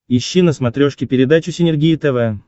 ищи на смотрешке передачу синергия тв